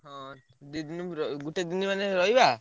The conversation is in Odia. ହଁ ଦି ଦିନି ର ଗୋଟେ ଦିନି ମାନେ ରହିବା।